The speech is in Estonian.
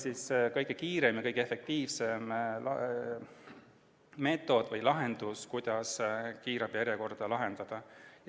Nii et see oli kõige kiirem ja kõige efektiivsem meetod, kuidas kiirabijärjekorda lühendada.